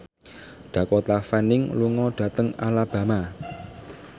Dakota Fanning lunga dhateng Alabama